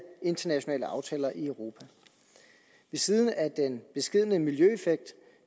internationale aftaler i europa ved siden af den beskedne miljøeffekt